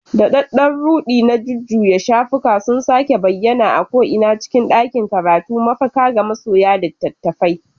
Daɗaɗɗen ruɗi na jujjuya shafuka sun sake bayyana a ko'ina cikin ɗakin karatu, mafaka ga masoya littattafai.